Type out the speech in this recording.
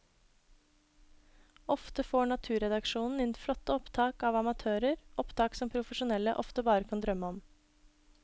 Ofte får naturredaksjonen inn flotte opptak av amatører, opptak som profesjonelle ofte bare kan drømme om.